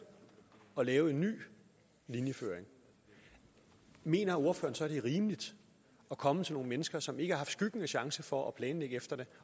at lave en ny linjeføring mener ordføreren så det er rimeligt at komme til nogle mennesker som ikke har haft skyggen af chance for at planlægge efter det